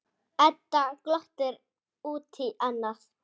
Edda glottir út í annað.